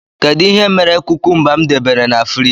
Kedụ ihe mere kúkúmba m debere n' fruidge?